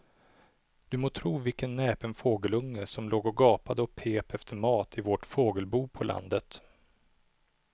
Du må tro vilken näpen fågelunge som låg och gapade och pep efter mat i vårt fågelbo på landet.